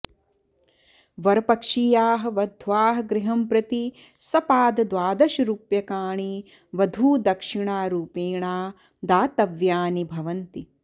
वरपक्षीयाः वध्वाः गृहं प्रति सपादद्वादशरूप्यकाणि वधूदक्षिणारूपेणा दातव्यानि भवन्ति